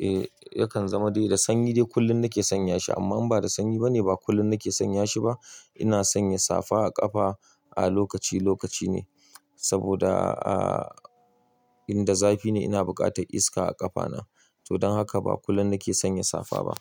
E yakan zama dai da sanyi dai kullum na ke sanya shi amma in ba da sanyi bane ba kullum na ke sanya shi ba. Ina sanya safa a ƙafa a lokaci lokaci ne saboda aa inda zafi ne ina buƙatar iska a ƙafana. To don haka ba kullum na ke sanya safa ba.